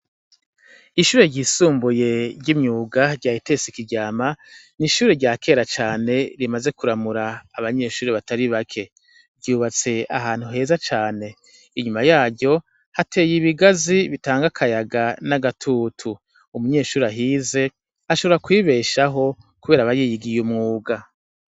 Ishure ryisumbuye ry'imyuga rya itese ikiryama ni ishure rya kera cane rimaze kuramura abanyeshuri batari bake ryubatse ahantu heza cane inyuma yaryo hateye ibigazi bitanga akayaga n'agatutu umunyeshuri ahize ashabora kwibeshaho, kubera abe yigiye umwuga.